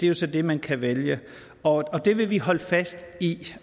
jo så det man kan vælge og det vil vi holde fast i og